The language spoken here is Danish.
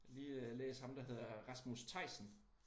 Lige læst ham der hedder Rasmus Theisen